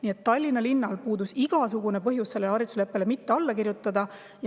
Nii et Tallinna linnal polnud mingit põhjust sellele haridusleppele mitte alla kirjutada.